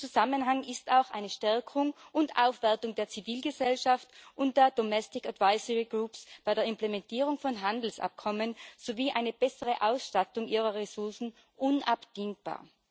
In diesem Zusammenhang ist auch eine Stärkung und Aufwertung der Zivilgesellschaft und der Domestic Advisory Groups bei der Implementierung von Handelsabkommen sowie eine bessere Ausstattung ihrer Ressourcen unabdingbar.